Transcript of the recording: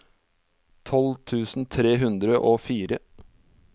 tolv tusen tre hundre og fire